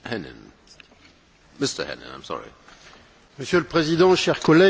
Monsieur le Président, chers collègues, vous ne l'admettrez pas, mais la réalité est là, flagrante